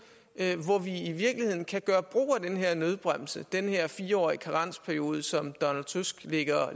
hvor vi i virkeligheden kan gøre brug af den her nødbremse den her fire årige karensperiode som donald tusk lægger